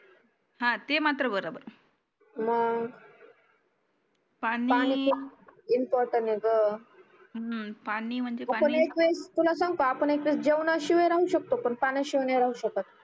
हा ते मात्र बरोबर पानी इम्पॉर्टंट यह ग हम्म पानी तुला सांगू का आपण जेवण शिवाय राहू शकतो पण पाण्या शिवाय नाही राहू शकत